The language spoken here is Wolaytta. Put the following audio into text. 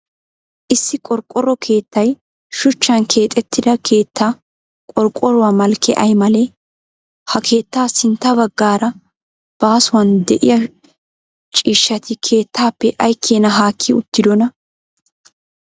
Issi qorqqoro keettay shuchchan keexettida keettaa qorqoruwa malkkee ay malee? Ha keettaa sintta baggaara baasuwan de'iyaa ciishshati keettaappe ay keena haakki uttidona?